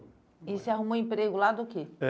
E você arrumou emprego lá do que? Eh